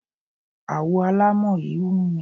Àwo alámọ̀ yí wù mí.